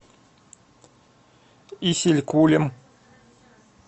исилькулем